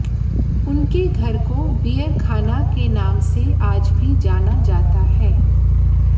उनके घर को बीयरखाना के नाम से आज भी जाना जाता है